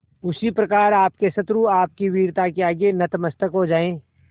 उसी प्रकार आपके शत्रु आपकी वीरता के आगे नतमस्तक हो जाएं